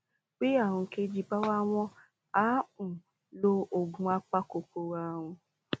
bí ààrùn kejì bá wà wọ́n á um lo oògùn apakòkòrò ààrùn